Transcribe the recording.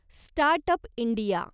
start up India